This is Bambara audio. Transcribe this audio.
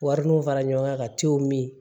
Wari mun fara ɲɔgɔn kan ka tew min